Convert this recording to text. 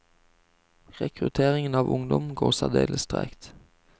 Rekrutteringen av ungdom går særdeles tregt.